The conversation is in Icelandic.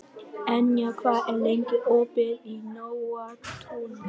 Enja, hvað er lengi opið í Nóatúni?